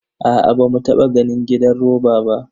Aa, bamu taba ganin gidan roba ba.